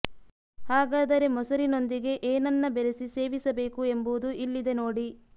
ಹಾಗಾದರೆ ಮೊಸರಿನೊಂದಿಗೆ ಏನನ್ನ ಬೆರಿಸಿ ಸೇವಿಸ ಬೇಕು ಎಂಬುದು ಇಲ್ಲಿದೆ ನೋಡಿ